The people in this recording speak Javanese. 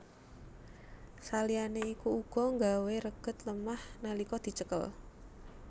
Saliyané iku uga nggawé reged lemah nalika dicekel